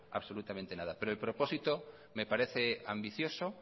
absolutamente nada pero el propósito me parece ambicioso